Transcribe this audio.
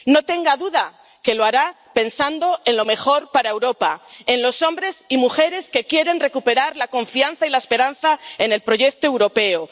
No tenga duda de que lo hará pensando en lo mejor para Europa, en los hombres y mujeres que quieren recuperar la confianza y la esperanza en el proyecto europeo.